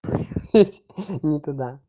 ха-ха не туда